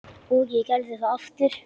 Og ég gerði það aftur.